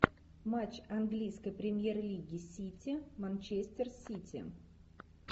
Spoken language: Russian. матч английской премьер лиги сити манчестер сити